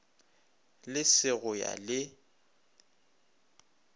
le se go ya le